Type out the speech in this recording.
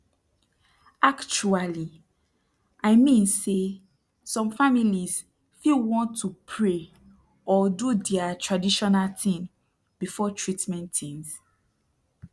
actuali i mean say som families fit want to pray or do dia traditional tin before treatment tins